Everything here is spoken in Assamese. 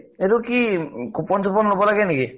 সেইটো কি coupon চোপন লʼব লাগে নেকি ?